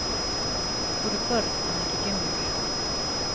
Voru börn en ekki geimverur